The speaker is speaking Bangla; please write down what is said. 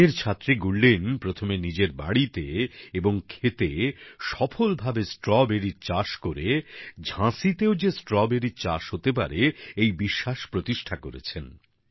আইনের ছাত্রী গুরলিন প্রথমে নিজের বাড়িতে এবং ক্ষেতে সফলভাবে স্ট্রবেরী র চাষ করে ঝাঁসিতেও যে স্ট্রবেরী চাষ হতে পারে এই বিশ্বাস প্রতিষ্ঠা করেছেন